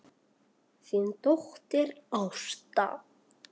Þín dóttir Ásta.